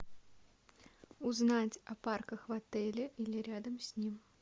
узнать о парках в отеле или рядом с ним